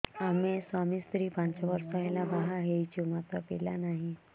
ଆମେ ସ୍ୱାମୀ ସ୍ତ୍ରୀ ପାଞ୍ଚ ବର୍ଷ ହେଲା ବାହା ହେଇଛୁ ମାତ୍ର ପିଲା ନାହିଁ